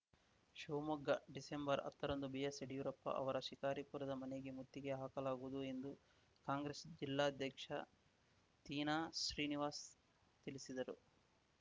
ಶಿವಮೊಗ್ಗ ಡಿಸೆಂಬರ್ಹತ್ತರಂದು ಬಿಎಸ್‌ಯಡ್ಯೂರಪ್ಪ ಅವರ ಶಿಕಾರಿಪುರದ ಮನೆಗೆ ಮುತ್ತಿಗೆ ಹಾಕಲಾಗುವುದು ಎಂದು ಕಾಂಗ್ರೆಸ್‌ ಜಿಲ್ಲಾಧ್ಯಕ್ಷ ತೀನಾಶ್ರೀನಿವಾಸ್‌ ತಿಳಿಸಿದರು